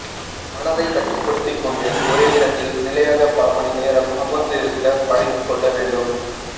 மனதை கட்டுப்படுத்திக் கொண்டு ஒரே இடத்தில் நிலையாக பல மணி நேரம் அமர்ந்து இருக்க பழக்கிக் கொள்ள வேண்டும்